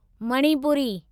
Manipuri